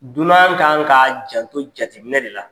Dunan kan ka janto jateminɛ de la.